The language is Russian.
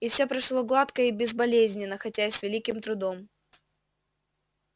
и всё прошло гладко и безболезненно хотя и с великим трудом